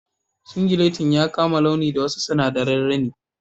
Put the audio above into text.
Singilettin ya kama launi da wasu sinadarin rini..